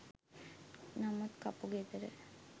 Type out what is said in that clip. නමුත් කපුගෙදර